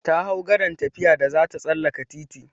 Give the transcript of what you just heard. Ta hau gadan tafiya da zata tsallaka titi.